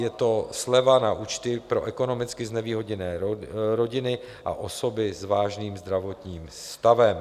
Je to sleva na účty pro ekonomicky znevýhodněné rodiny a osoby s vážným zdravotním stavem.